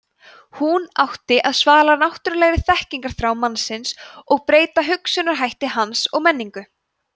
hún átti að svala náttúrulegri þekkingarþrá mannsins og breyta hugsunarhætti hans og menningu